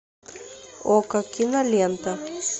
окко кинолента